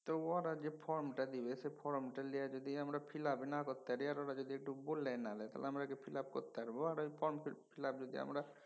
ত ওরা যে form টা দিবে সে ফরমটা লিয়ে যদি আমরা fill up ই না করতে পারি আর ওরা যদি একটু বলে না দেয় তাহলে আমরা কি fill up করতে পারবো? আর ঐ ফর্ম যদি আমরা